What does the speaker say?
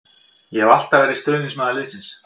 Ég hef alltaf verið stuðningsmaður liðsins.